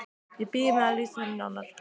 Ég bíð með að lýsa henni nánar.